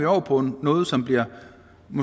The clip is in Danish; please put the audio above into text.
over på noget som hovedsagelig bliver